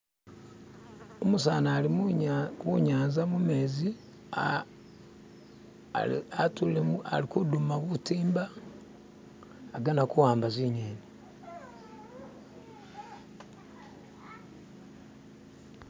umusani ali munyanza mumezi atullilemu alikuduma butimba agana kuwamba zinyeni